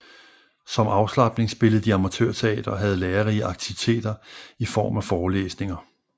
Som afslapning spillede de amatørteater og havde lærerige aktiviteter i form af forelesninger